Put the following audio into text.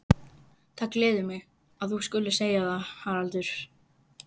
Það gleður mig, að þú skulir segja það, Haraldur